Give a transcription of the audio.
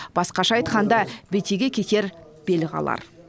басқаша айтқанда бетеге кетер бел қалар